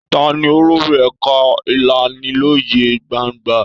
Ta ni olórí ẹ̀ka ìlanilọ́yẹ gbangba?